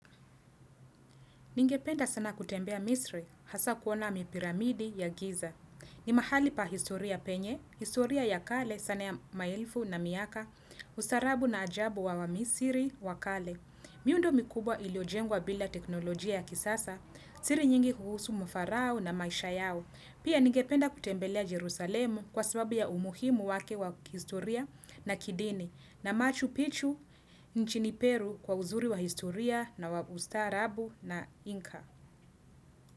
Ningependa sana kutembea misri hasa kuona mipiramidi ya giza. Ni mahali pa historia penye, historia ya kale sana ya maelfu na miaka, ustarabu na ajabu wa wa misiri wa kale. Miundo mikubwa iliojengwa bila teknolojia ya kisasa, siri nyingi kuhusu mfarao na maisha yao. Pia nigependa kutembelea Jerusalemu kwa sababu ya umuhimu wake wa historia na kidini na machu pichu nchini Peru kwa uzuri wa historia na ustarabu na inka.